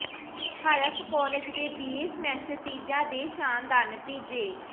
ਹਰਫ਼ college ਦੇ BA semester ਤੀਜਾ ਦੇ ਸ਼ਾਨਦਾਰ ਨਤੀਜੇ